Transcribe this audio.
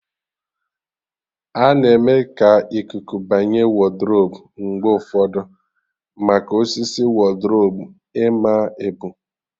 A-na eme ka ikuku banye wodrubu mgbe ụfọdụ, maka osisi wodrubu ịma ebu